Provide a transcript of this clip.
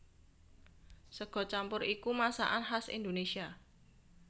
Sega campur iku masakan khas Indonésia